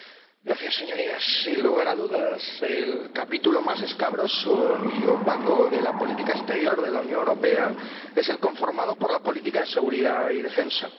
Señora Presidenta, Señorías, sin lugar a dudas el capítulo más escabroso y opaco de la política exterior de la Unión Europea es el conformado por la política de seguridad y defensa.